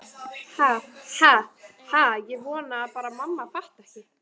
Ha ha ha- ég vona bara að mamma fatti ekki.